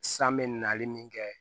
San bɛ nali min kɛ